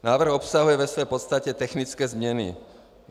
Návrh obsahuje ve své podstatě technické změny.